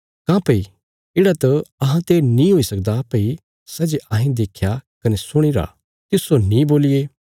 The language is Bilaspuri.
काँह्भई येढ़ा त अहांते नीं हुई सकदा भई सै जे अहें देख्या कने सुणीरा तिस्सो नीं बोलिये